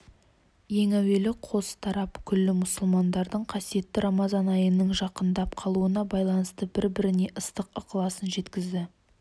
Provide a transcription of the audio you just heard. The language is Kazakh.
ең әуелі қос тарап күллі мұсылмандардың қасиетті рамазан айының жақындап қалуына байланысты бір-біріне ыстық ықыласын жеткізді